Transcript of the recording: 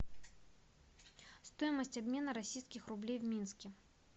стоимость обмена российских рублей в минске